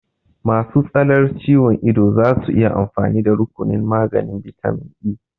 Masu tsalar ciwon ido zasu iya amfani da rukunin maganin bitamin E